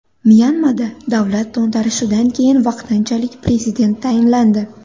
Myanmada davlat to‘ntarishidan keyin vaqtinchalik prezident tayinlandi.